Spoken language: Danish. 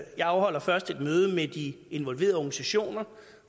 jeg afholder først et møde med de involverede organisationer